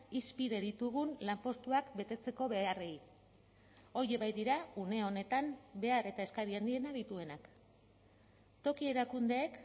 hizpide ditugun lanpostuak betetzeko beharrei horiek baitira une honetan behar eta eskari handiena dituenak toki erakundeek